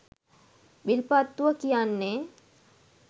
විල්පත්තුව කියන්නෙ